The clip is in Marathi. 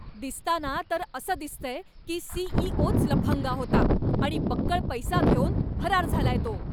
दिसताना तर असं दिसतंय की सी.ई.ओ.च लफंगा होता आणि बक्कळ पैसा घेऊन फरार झालाय तो.